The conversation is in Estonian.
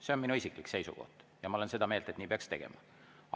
See on minu isiklik seisukoht ja ma olen seda meelt, et nii peaks tegema.